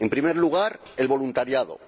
En primer lugar, el voluntariado